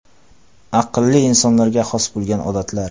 Aqlli insonlarga xos bo‘lgan odatlar.